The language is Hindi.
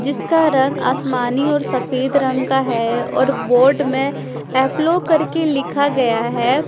जिसका रंग आसमानी और सफेद रंग का है और बोर्ड में एप्लो करके लिखा गया है।